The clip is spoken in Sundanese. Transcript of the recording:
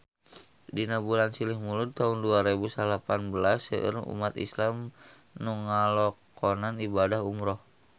Dina bulan Silih Mulud taun dua rebu salapan belas seueur umat islam nu ngalakonan ibadah umrah